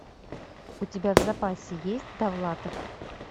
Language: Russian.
у тебя в запасе есть довлатов